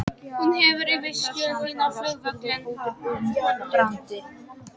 Hún hefur útsýni yfir Öskjuhlíð og flugvöllinn.